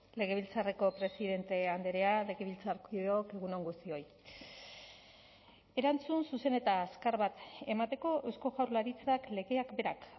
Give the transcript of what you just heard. legebiltzarreko presidente andrea legebiltzarkideok egun on guztioi erantzun zuzen eta azkar bat emateko eusko jaurlaritzak legeak berak